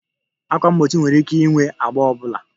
Ákwà mgbochi nwere ike ịnwe agba ọ bụla